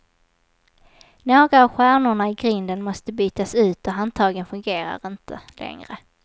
Några av stjärnorna i grinden måste bytas ut och handtagen fungerar inte längre.